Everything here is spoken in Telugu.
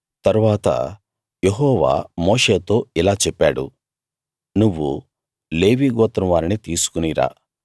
తరువాత యెహోవా మోషేతో ఇలా చెప్పాడు నువ్వు లేవీ గోత్రం వారిని తీసుకుని రా